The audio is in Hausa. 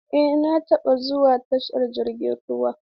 Eh na taɓa zuwa tashar jirgin ruwa.